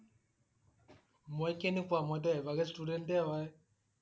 মই কেনেকুৱা? মই টো average student এ হয়।